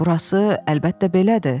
Burası, əlbəttə belədir.